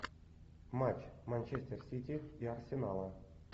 матч манчестер сити и арсенала